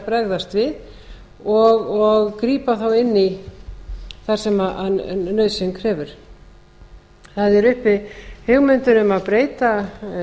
bregðast við og grípa þá inn í þar sem nauðsyn krefur það eru uppi hugmyndir um að breyta